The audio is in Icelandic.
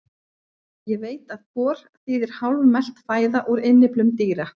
Ég veit að gor þýðir hálfmelt fæða úr innyflum dýra.